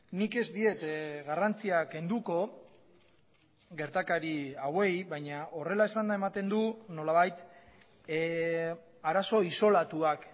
nik ez diet garrantzia kenduko gertakari hauei baina horrela esanda ematen du nolabait arazo isolatuak